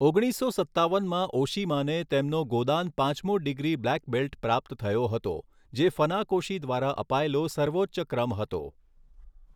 ઓગણીસો સત્તાવનમાં ઓશિમાને તેમનો ગોદાન પાંચમો ડિગ્રી બ્લેક બેલ્ટ પ્રાપ્ત થયો હતો, જે ફનાકોશી દ્વારા અપાયેલો સર્વોચ્ચ ક્રમ હતો.